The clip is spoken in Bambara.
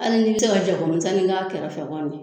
Ali n'i te se ka jabɔ misɛni kɛ a kɛrɛfɛ kɔni